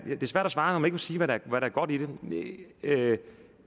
svært at svare når man ikke vil sige hvad der er godt i det